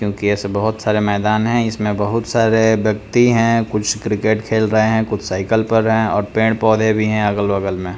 क्योंकि ऐसे बहुत सारे मैदान है इसमें बहुत सारे व्यक्ति हैं कुछ क्रिकेट खेल रहे हैं कुछ साइकिल पर है और पेड़-पौधे भी हैं अगल-बगल में।